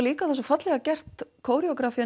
líka svo fallega gert